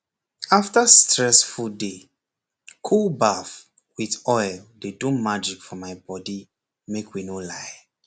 after stress full day cool baff with oil dey do magic for my body make we no lie